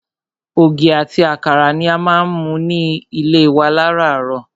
Ògì ati àkàrà ni a má ń mu ní ilé wa láràárọ̀.